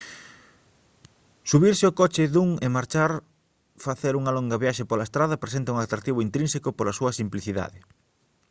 subirse ao coche dun e marchar facer unha longa viaxe pola estrada presenta un atractivo intrínseco pola súa simplicidade